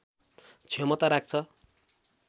क्षमता राख्छ